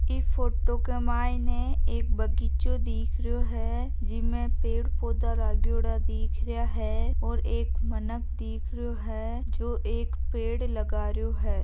इ फोटो के मायने एक बगीचों दिख रहियो हैं जिनमें पेड़ पोधा लागयोड़ा दिख रहिया हैं और एक मीनक दिख रहियो हैं जो एक पेड़ लगा रहियो हैं।